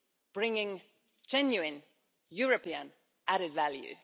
bringing genuine European added value.